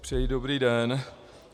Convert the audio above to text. Přeji dobrý den.